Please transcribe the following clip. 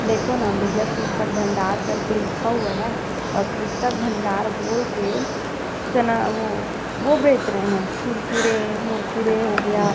देखो न विजय पुस्तक भंडार कर के लिखा हुआ है और पुस्तक भंडार बोल के चना वो-वो बेच रहै है कुरकुरे मुरकुरे हो गया--